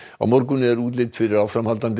á morgun er útlit fyrir áframhaldandi